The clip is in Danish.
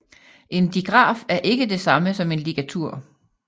En digraf er ikke det samme som en ligatur